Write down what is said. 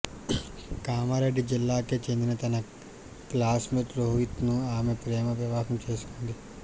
కామారెడ్డి జిల్లాకే చెందిన తన క్లాస్మేట్ రోహిత్ను ఆమె ప్రేమ వివాహం చేసుకుంది